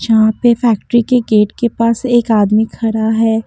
यहां पे फैक्ट्री के गेट के पास एक आदमी खड़ा है।